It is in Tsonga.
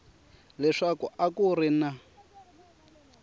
leswaku a ku ri na